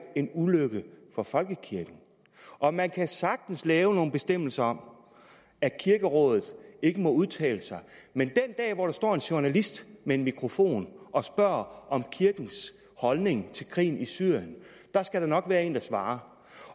en ulykke for folkekirken og man kan sagtens lave nogle bestemmelser om at kirkerådet ikke må udtale sig men den dag hvor der står en journalist med en mikrofon og spørger om kirkens holdning til krigen i syrien skal der nok være en der svarer